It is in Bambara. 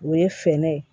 O ye fɛɛrɛ ye